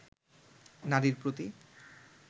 নারীর প্রতি